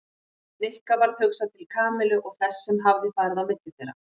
Nikka varð hugsað til Kamillu og þess sem hafði farið á milli þeirra.